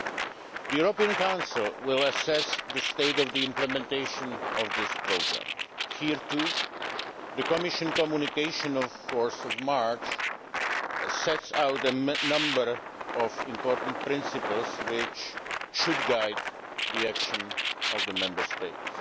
The European Council will assess the state of implementation of this programme. Here, too, the Commission's communication of 4 March sets out a number of important principles which should guide the action of Member States.